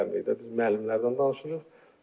Biz müəllimlərdən danışırıq.